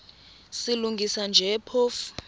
silungisa nje phofu